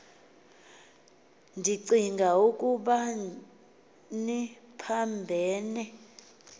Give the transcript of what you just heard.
ndicing ukuba niphambene